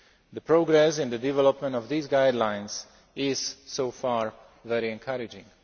The progress in the development of these guidelines is, so far, very encouraging.